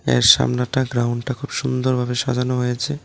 এর সামনেটা গ্রাউন্ডটা খুব সুন্দরভাবে সাজানো হয়েছে।